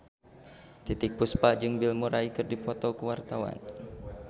Titiek Puspa jeung Bill Murray keur dipoto ku wartawan